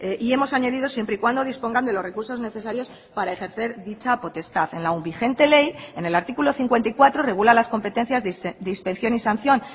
y hemos añadido siempre y cuando dispongan de los recursos necesarios para ejercer dicha potestad en la vigente ley en el artículo cincuenta y cuatro regula las competencias de inspección y sanción